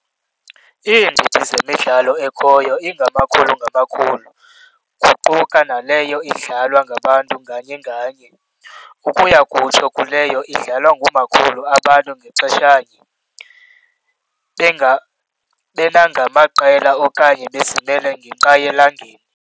Iindidi zemidlalo ekhoyo ingamakhulu ngamakhulu, kuquka naleyo idlalwa ngabantu nganye nganye, ukuya kutsho kuleyo idlalwa ngamakhulu abantu ngaxeshanye, benagamaqela okanye bezimele ngenqayi elangeni.